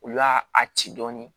U y'a a ci dɔɔnin